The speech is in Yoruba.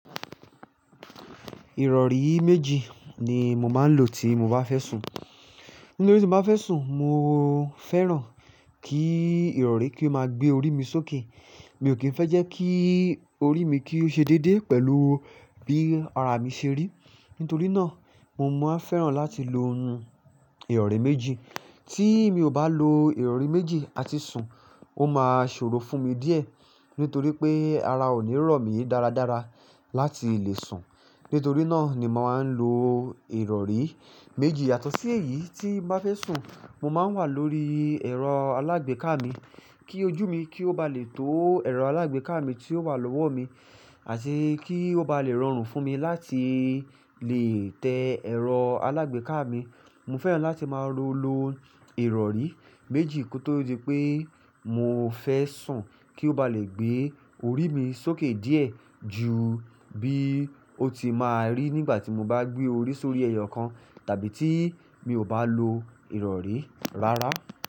Ìrọ̀rí méjì ni mo máa ń lò tí mo bá fẹ́ sùn. Nítorí tí mo bá fẹ́ sùn, mo fẹ́ràn kí ìrọ̀rí kí ó máa gbé orí mi sókè. Mi ò kí ń fẹ́ jẹ́ kí orí mi kí ó ṣe déédéé pẹ̀lú bí ara mi ṣe rí. Nítorí náà, mo máa ń fẹ́ràn láti lo ìrọ̀rí méjì. Tí mi ò bá lo ìrọ̀rí méjì àti sùn, ó máa ṣòro fún mi díẹ̀. Nítorí pé ara ò ní rọ̀ mí dáradára láti lè sùn. Nítorí náà ni mo máa ń lo ìrọ̀rí méjì. Yato sì èyíi tí n bá fẹ́ sùn, mo máa ń wà lórí ẹ̀rọ alágbèéká mi kí ojú mi kí ó ba lè tó ẹ̀rọ alágbèéká mi tí ó wà lọ́wọ́ mi, àti kí ó ba lè rọrùn fún mi láti lè tẹ ẹ̀rọ alágbèéká mi. Mo fẹ́ràn láti máa lo lo ìrọ̀rí méjì kó tó di pé mo fẹ́ sùn kí ó ba lè gbé orí mi sókè díẹ̀ ju bí ó ti máa rí nígbà tí mo bá gbé orí sórí ẹyọ kan tàbí tí mi ò bá lo ìrọ̀rí rárá.